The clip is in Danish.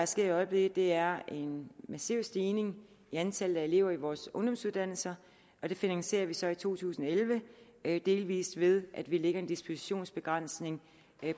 ser i øjeblikket er en massiv stigning i antallet af elever på vores ungdomsuddannelser og det finansierer vi så i to tusind og elleve delvis ved at vi lægger en dispositionsbegrænsning